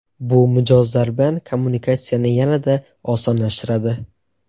Bu mijozlar bilan kommunikatsiyani yanada osonlashtiradi.